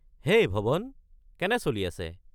হেই ভৱন, কেনে চলি আছে?